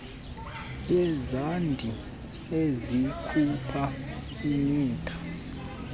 lwezandi ezikhupha imitha